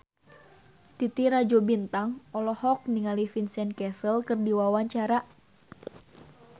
Titi Rajo Bintang olohok ningali Vincent Cassel keur diwawancara